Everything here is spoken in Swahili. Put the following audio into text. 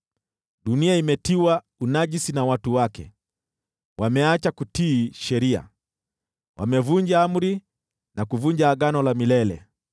Dunia imetiwa unajisi na watu wake; wameacha kutii sheria, wamevunja amri na kuvunja agano la milele.